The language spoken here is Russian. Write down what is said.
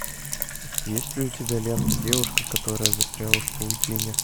есть ли у тебя лента девушка которая застряла в паутине